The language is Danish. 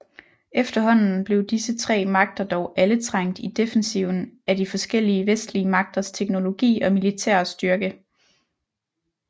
Efterhånden blev disse tre magter dog alle trængt i defensiven af de forskellige vestlige magters teknologi og militære styrke